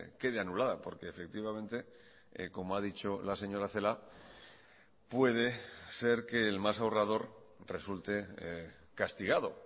quede anulada porque efectivamente como ha dicho la señora celaá puede ser que el más ahorrador resulte castigado